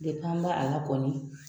ba a la kɔni